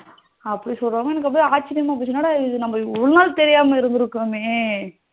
அப்படி சொல்றாங்க எனக்கு ஒரே ஆச்சரியமா போச்சு என்னடா இது நம்ம இவ்வளவு நாள் தெரியாம இருந்துருக்கோமே